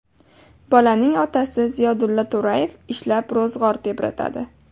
Bolaning otasi Ziyodulla To‘rayev ishlab ro‘zg‘or tebratadi.